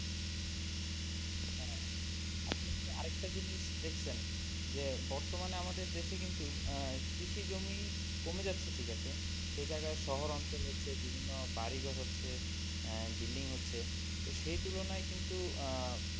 আরেকটা জিনিস দেখছেন? যে বর্তমানে আমাদের দেশে কিন্তু আহ কৃষি জমি কমে যাচ্ছে ঠিক আছে সেই জায়গায় শহর অঞ্চল হচ্ছে বিভিন্ন বাড়ি ঘর হচ্ছে building হচ্ছে তো সেই তুলনায় কিন্তু আহ